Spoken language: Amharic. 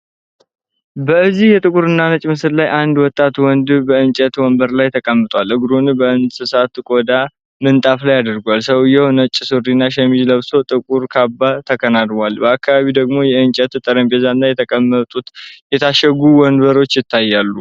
በዚህ የጥቁርና ነጭ ምስል ላይ አንድ ወጣት ወንድ በእንጨት ወንበር ላይ ተቀምጧል። እግሩን በእንስሳት ቆዳ ምንጣፍ ላይ አድርጓል። ሰውዬው ነጭ ሱሪና ሸሚዝ ለብሶ ጥቁር ካባ ተከናንቧል። በአካባቢው ደግሞ የእንጨት ጠረጴዛና የተቀመጡ የታሸጉ ወፎች ይታያሉ።